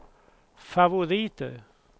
favoriter